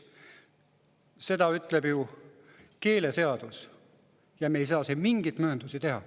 Seda ütleb ju keeleseadus ja me ei saa siin mingeid mööndusi teha.